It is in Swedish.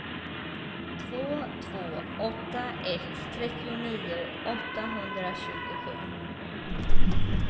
två två åtta ett trettionio åttahundratjugosju